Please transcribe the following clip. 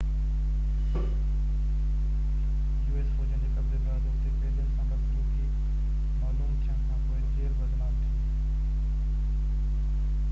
us فوجين جي قبضي بعد اتي قيدين سان بدسلوڪي معلوم ٿيڻ کانپوءِ جيل بدنام ٿي